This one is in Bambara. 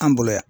An bolo yan